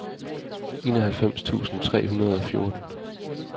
enoghalvfems tusind tre hundrede og fjorten